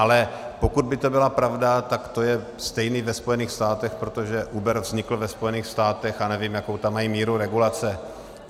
Ale pokud by to byla pravda, tak to je stejné ve Spojených státech, protože Uber vznikl ve Spojených státech, a nevím, jakou tam mají míru regulace.